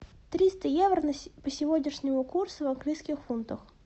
триста евро по сегодняшнему курсу в английских фунтах